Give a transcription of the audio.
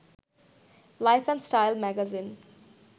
life and Style magazine